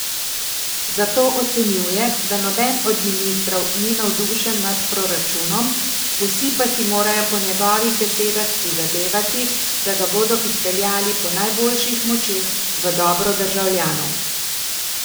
Zato ocenjuje, da noben od ministrov ni navdušen nad proračunom, vsi pa si morajo po njegovih besedah prizadevati, da ga bodo izpeljali po najboljših močeh v dobro državljanov.